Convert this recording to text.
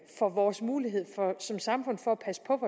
for vores mulighed som samfund for at passe på